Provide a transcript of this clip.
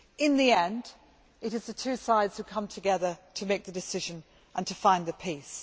In the end, it is the two sides who come together to make the decision and to find the peace.